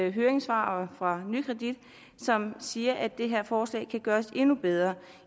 et høringssvar fra nykredit som siger at det her forslag kan gøres endnu bedre